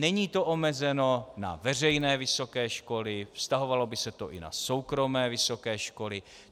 Není to omezeno na veřejné vysoké školy, vztahovalo by se to i na soukromé vysoké školy.